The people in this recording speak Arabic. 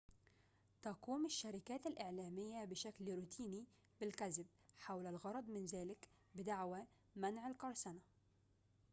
تقوم الشركات الإعلامية بشكل روتيني بالكذب حول الغرض من ذلك بدعوى منع القرصنة